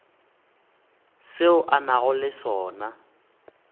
seo a nago le sona